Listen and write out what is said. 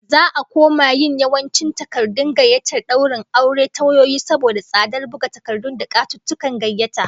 Za'a koma yin yawancin takardun gayyatar daurin aure ta wayoyi saboda tsadar buga takardu da katuttukan gayyata